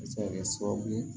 A bɛ se ka kɛ sababu ye